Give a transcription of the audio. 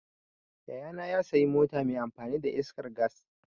Yaya na ya sayi mota mai amfani da iskar gas.